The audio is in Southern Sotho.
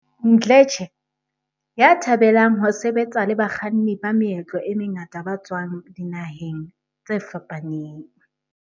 Mdletshe, ya thabelang ho sebetsa le bakganni ba meetlo e mengata ba tswang dinaheng tse fapaneng.